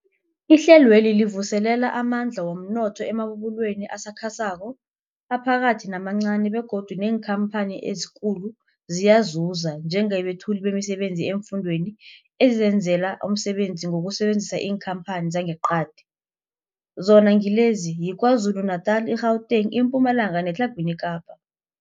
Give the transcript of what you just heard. Ihlelweli livuselela amandla womnotho emabubulweni asakhasako, aphakathi namancani begodu neenkhamphani ezikulu ziyazuza njengabethuli bemisebenzi eemfundeni ezizenzela umsebenzi ngokusebenzisa iinkhamphani zangeqadi, zona ngilezi, yiKwaZulu-Natala, i-Gauteng, iMpumalanga neTlhagwini Kapa.